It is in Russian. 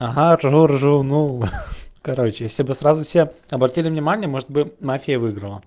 ага ржу ржу ну короче если бы сразу все обратили внимание может бы мафия и выиграла